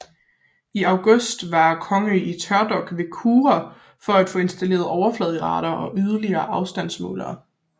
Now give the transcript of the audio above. I august var Kongō i tørdok ved Kure for at få installeret overflade radar og yderligere afstandsmålere